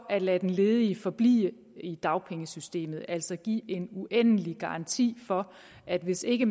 at lade den ledige forblive i dagpengesystemet altså at give en uendelig garanti for at hvis ikke